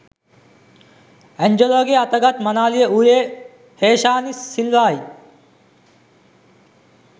ඇන්ජලෝගේ අත ගත් මනාලිය වූයේ හේෂානි සිල්වායි.